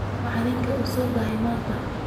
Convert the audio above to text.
Macalinka uusodahe manta.